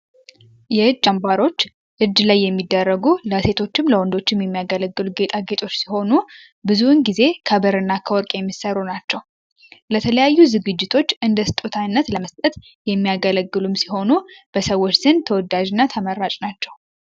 ይህ ጨንባሮች እጅ ላይ የሚደረጉ ለእሴቶችም ለወንዶችም የሚያገለግሉ ጌጣ ጌጦች ሲሆኑ ብዙውን ጊዜ ከበር እና ከወርቅ የሚሠሩ ናቸው። ለተለያዩ ዝግጅቶች እንደ ስጡታይነት ለመስጠት የሚያገለግሉም ሲሆኑ በሰዎች ዝን ተወዳዥእና ተመራጭ ናቸው።